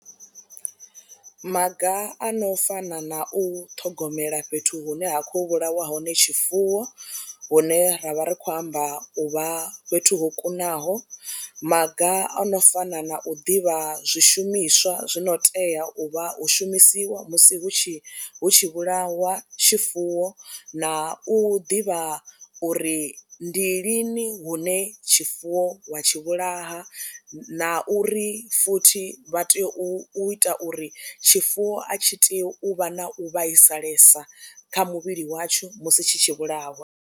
Maga a no fana na u ṱhogomela fhethu hune ha khou vhulawa hone tshifuwo hune ra vha ri khou amba uvha fhethu ho kunaho, maga o no fana na u ḓivha zwishumiswa zwi no tea u vha u shumisiwa musi hu tshi hu tshi vhulawa tshifuwo, na u ḓivha uri ndi lini hune tshifuwo wa tshi vhulaha na uri futhi vha tea u ita uri tshifuwo a tshi tea u vha na u vhaisalesa kha muvhili watsho musi tshi tshi vhulawa.